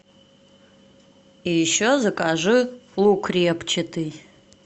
и еще закажи лук репчатый